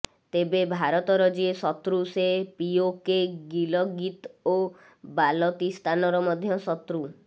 ତେବେ ଭାରତର ଯିଏ ଶତ୍ରୁ ସେ ପିଓକେ ଗିଲଗିତ ଓ ବାଲତିସ୍ତାନର ମଧ୍ୟ ଶତ୍ରୁ